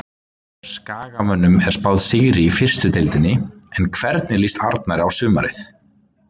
Skagamönnum er spáð sigri í fyrstu deildinni en hvernig líst Arnari á sumarið?